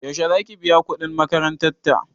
Yaushe zaki biya kuɗin makarantan ta?